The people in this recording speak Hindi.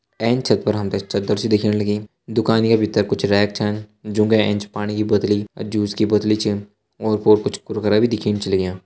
एंच छत पर हम ते चदर सी दिखेण लगीं दुकानि का भितर कुछ रैक छन जुं का एंच पाणी की बोत्तली अर जूस की बोत्तली छ ओर पोर कुछ कुरकुरा भी दिखेण छ लग्यां।